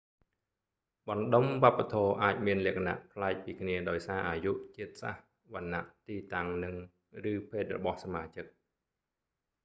បណ្ដុំវប្បធម៌អាចមានលក្ខណៈប្លែកពីគ្នាដោយសារអាយុ ជាតិសាសន៍ វណ្ណៈ ទីតាំងនិង / ឬភេទរបស់សមាជិក